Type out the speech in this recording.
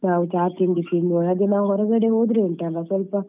ಚಾ ತಿಂಡಿ ತಿನ್ನುವಾಗ ಅದು ನಾವ್ ಹೊರಗಡೆ ಹೋದ್ರೆ ಉಂಟಲ